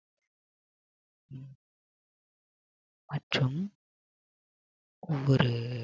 மற்றும் ஒவ்வொரு